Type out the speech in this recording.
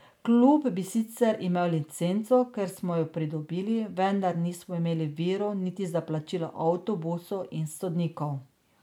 Klub bi sicer imel licenco, ker smo jo pridobili, vendar nismo imeli virov niti za plačilo avtobusa in sodnikov.